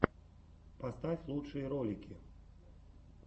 поставь лучшие ролики